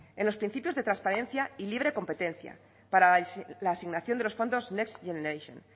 en los principios de transparencia y libre competencia para la asignación de los fondos next generation